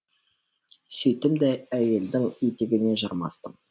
сөйттім де әйелдің етегіне жармастым